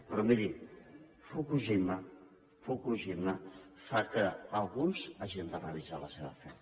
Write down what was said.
però miri fukushima fa que alguns hagin de revisar la seva fe